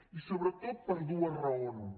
i sobretot per dues raons